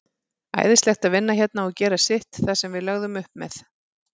Æðislegt að vinna hérna og gera sitt, það sem við lögðum upp með.